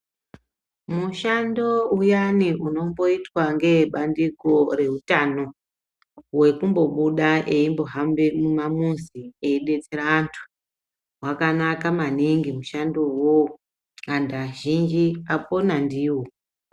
Mushando uyani unomboitwa ngee bandiko rehutano hwekumbo buda eimbo hambe muma muzi ei betsera andu hwaka naka maningi mushando uwowo andu azhinji apona ndiwo.